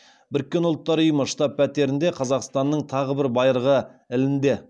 біріккен ұлттар ұйымы штаб пәтерінде қазақстанның тағы бір байырғы ілінді